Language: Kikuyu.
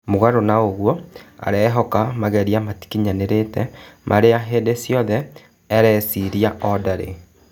Mũgarũ na ũguo, arehoka "mageria matakinyanĩ rĩ te marĩ a hĩ ndĩ ciothe areciria o ndari."